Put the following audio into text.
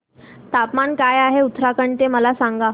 तापमान काय आहे उत्तराखंड चे मला सांगा